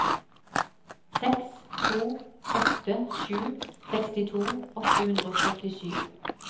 seks to åtte sju sekstito åtte hundre og syttisju